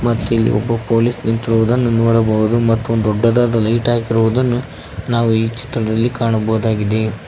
ಮತ್ತಿಲ್ಲಿ ಒಬ್ಬ ಪೊಲೀಸ್ ನಿಂತಿರುವುದನ್ನು ನೋಡಬಹುದು ಮತ್ತು ಒಂದು ದೊಡ್ಡದಾದ ಲೈಟ್ ಹಾಕಿರುವುದನ್ನು ನಾವು ಈ ಚಿತ್ರದಲ್ಲಿ ಕಾಣಬಹುದಾಗಿದೆ.